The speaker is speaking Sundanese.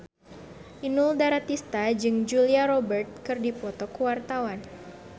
Inul Daratista jeung Julia Robert keur dipoto ku wartawan